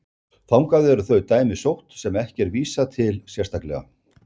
Þangað eru þau dæmi sótt sem ekki er vísað til sérstaklega.